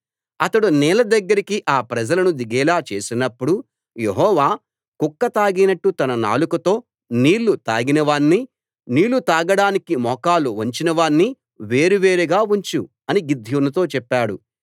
అతడు నీళ్ల దగ్గరికి ఆ ప్రజలను దిగేలా చేసినప్పుడు యెహోవా కుక్క తాగినట్టు తన నాలుకతో నీళ్ళు తాగిన వాణ్ణి నీళ్ళు తాగడానికి మోకాళ్ళు వంచిన వాణ్ణి వేరువేరుగా ఉంచు అని గిద్యోనుతో చెప్పాడు